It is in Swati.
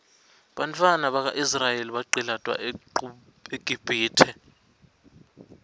bantfwana baka israel baqcilatwa eqibhitue